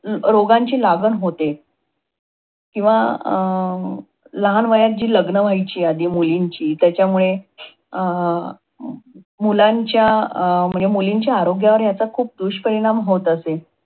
रोगांची लागण होते, किंवा अं लहान वयात जी लग्न व्हायची, आधी मुलींची त्यांच्यामुळे अं मुलांच्या अं म्हणजे मुलींच्या आरोग्यावर ह्याचा खूप दुष्परिणाम होत असे.